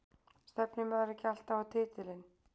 Stefnir maður ekki alltaf á titilinn?